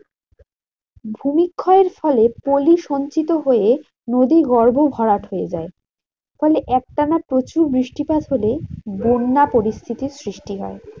ভূমিক্ষয়ের ফলে পলি সঞ্চিত হয়ে নদীগর্ভ ভরাট হয়ে যায়। ফলে একটানা প্রচুর বৃষ্টিপাত হলেই বন্যা পরিস্থিতির সৃষ্টি হয়।